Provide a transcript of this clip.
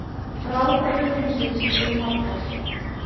Ráðgátur heimsins eru margar.